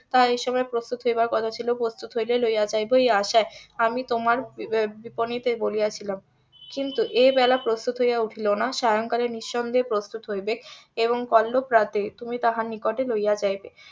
তাহা এই সময় প্রস্তুত হইবার কথা ছিল প্রস্তুত হইলে লইয়া যাইবো এই আশায় আমি তোমার বিপনীতে বলিয়া ছিলাম কিন্তু এবেলা প্রস্তুত হইয়া উঠিল না সায়ংকালে নিঃসন্দেহে প্রস্তুত হইবেক এবং কল্লো প্রাতে তাহার নিকটে লইয়া যাইবে